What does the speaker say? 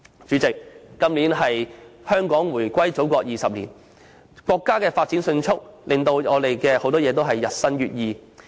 主席，今年是香港回歸祖國20周年，國家發展迅速，很多事物均日新月異。